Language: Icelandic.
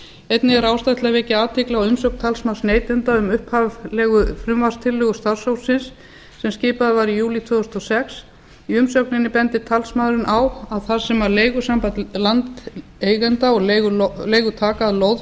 einnig er ástæða til að vekja athygli á umsögn talsmanns neytenda um upphaflega frumvarpstillögu starfshópsins sem skipaður var í júlí tvö þúsund og sex í umsögninni bendir talsmaðurinn á að þar sem leigusamband landeigenda og leigutaka af lóð